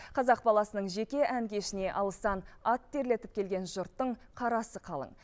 қазақ баласының жеке ән кешіне алыстан ат терлетіп келген жұрттың қарасы қалың